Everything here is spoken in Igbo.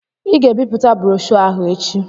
Ị ga-ebipụta broshoo ahụ echi!